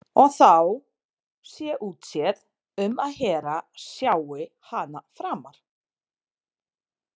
Og þá sé útséð um að Hera sjái hana framar.